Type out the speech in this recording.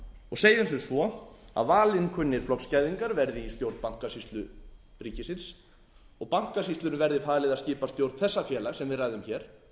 og segjum sem svo að valinkunnir flokksgæðingar verði í stjórn bankasýslu ríkisins og bankasýslunni verði falið að skipa stjórn þessa félags sem við ræðum hér